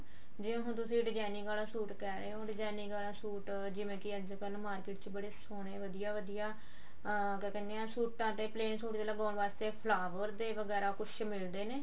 ਜਿਵੇਂ ਹੁਣ ਤੁਸੀਂ designing ਆਲਾ ਸੂਟ ਕਿਹ ਰਹੇ ਓ designing ਆਲਾ ਸੂਟ ਜਿਵੇਂ ਕੀ ਅੱਜਕਲ market ਚ ਸੋਹਣੇ ਵਧੀਆ ਵਧੀਆ ਅਹ ਕਿਆ ਕਹਿੰਦੇ ਆ ਸੂਟਾਂ ਤੇ plain ਸੂਟ ਤੇ ਲਗਵਾਉਣ ਵਾਸਤੇ flower ਜੇ ਵਗੈਰਾ ਮਤਲਬ ਕੁੱਝ ਮਿਲਦੇ ਨੇ